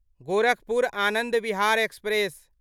Gorakhpur Anand Vihar express